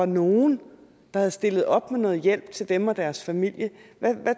nogen havde stillet op med noget hjælp til dem og deres familie hvad